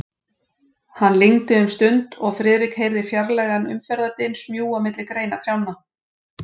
Hann lygndi um stund, og Friðrik heyrði fjarlægan umferðardyn smjúga milli greina trjánna.